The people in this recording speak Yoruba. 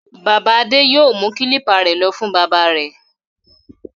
Bàbá Adé yóò mú kílípà rẹ̀ lọ fún bábà rẹ̀.